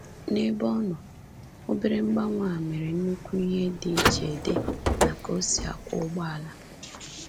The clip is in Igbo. N’ebe ọ nọ, obere mgbanwe a mere nnukwu ihe di che di na ka-osi akwọ ụgbọala.